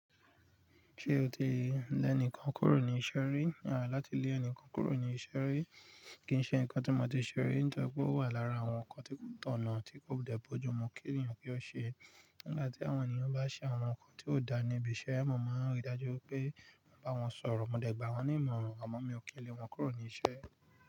Ṣé o ti lẹ́ni kan kúrò ní iṣẹ́ rí? Láti lé ẹni kan kúrò ní iṣẹ́ rí kì í ṣe nǹkan tí mo ti ṣe rí. Nitori pe o wà lára àwọn nǹkan tí tọ̀nà tí kò dẹ̀ bọ́ ju mo kí èyàn ki ó ṣe. Nígbà tí àwọn ènìyàn bá ṣe àwọn nǹkan tí ó dáa níbi iṣẹ́, mo máa rí i dájú pé mo bá wọn sọ̀rọ̀, mo dẹ̀ gbà wọ́n nímọ̀ràn, àmọ́ mi ò kí lè wọn kúrò ní iṣẹ́.